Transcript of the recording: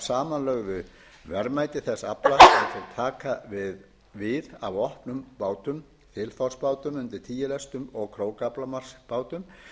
samanlögðu verðmæti þess afla sem þeir taka við af opnum bátum þilfarsbátum undir tíu lestum og krókaaflamarksbátum